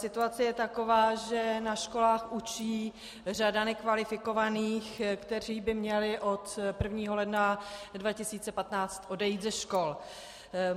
Situace je taková, že na školách učí řada nekvalifikovaných, kteří by měli od 1. ledna 2015 odejít ze škol.